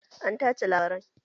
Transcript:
An tace labarai